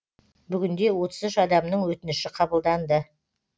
бүгінде отыз үш адамның өтініші қабылданды